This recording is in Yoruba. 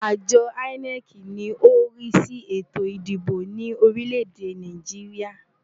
Àjọ INEC ni ó ń rí sí ètò ìdìbò ní orílẹ̀-èdè Nàìjíríà.